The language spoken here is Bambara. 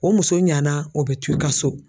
O muso ɲana o bɛ to i ka so